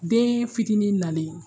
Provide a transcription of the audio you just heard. Deen fitinin nalen